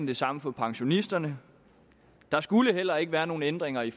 det samme for pensionisterne der skulle heller ikke være nogen ændringer i